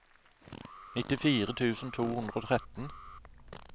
nittifire tusen to hundre og tretten